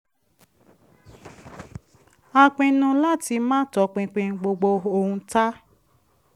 a pinnu láti máa tọpinpin gbogbo ohun tá